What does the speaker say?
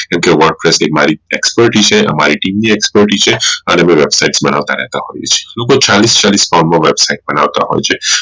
કેમ કે Wordpress આ અમારી Expertise છે અમારી team ની expertise છે અને અમે website બનાવતા રહેતા હોઈએ છીએ લોકો ચાલીશ ચાલીશ website બનવતા હોઈ છે